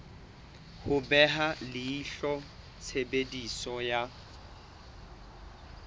ho beha leihlo tshebediso ya